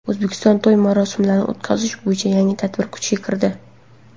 O‘zbekistonda to‘y-marosimlarni o‘tkazish bo‘yicha yangi tartib kuchga kirdi.